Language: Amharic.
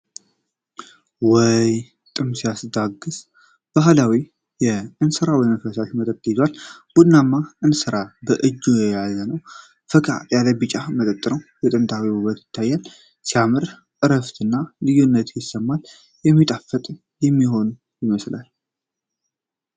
ውይ! ጥም የሚያስታግስ! በባህላዊ እንስራ ውስጥ ፈሳሽ መጠጥ ይዟል። ቡናማ እንስራው በእጅ የተያዘ ነው። ፈካ ያለ ቢጫ መጠጥ ነው። የጥንታዊነት ውበት ይታየኛል። ሲያምር! እረፍት እና ልዩነት ይሰማኛል። የሚጣፍጥ እንደሚሆን ይመስለኛል።